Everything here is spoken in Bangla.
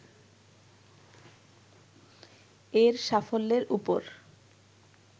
এর সাফল্যের উপর